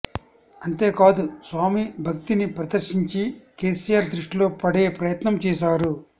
అంతే కాదు స్వామి భక్తిని ప్రదర్శించి కేసీఆర్ దృష్టిలో పడే ప్రయత్నం చేశారు